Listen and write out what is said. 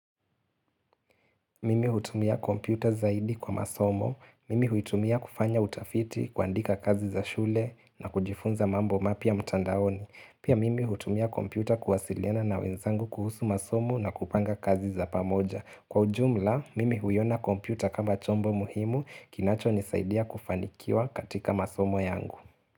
Mimi hutumia kompyuta zaidi kwa masomo. Mimi huitumia kufanya utafiti kuandika kazi za shule, na kujifunza mambo mapya mtandaoni. Pia mimi hutumia kompyuta kuwasiliana na wenzangu kuhusu masomo na kupanga kazi za pamoja. Kwa ujumla, mimi huiona kompyuta kama chombo muhimu kinachonisaidia kufanikiwa katika masomo yangu.